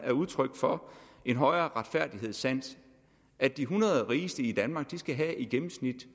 er udtryk for en højere retfærdighedssans at de hundrede rigeste i danmark i gennemsnit